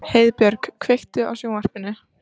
Heiðbjörk, kveiktu á sjónvarpinu.